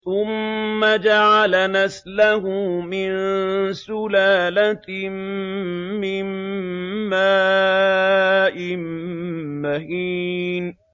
ثُمَّ جَعَلَ نَسْلَهُ مِن سُلَالَةٍ مِّن مَّاءٍ مَّهِينٍ